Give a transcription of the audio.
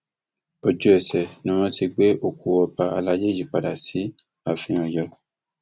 ojúẹsẹ ni wọn sì ti ti gbé òkú ọba àlàyé yìí padà sí ààfin ọyọ